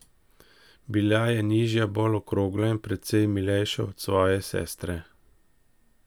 Bila je nižja, bolj okrogla in precej milejša od svoje sestre.